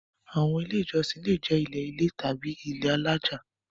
Àwọn Ilé-ìjọsìn le jẹ́ ilé-ilẹ̀ tàbí ilé alájà.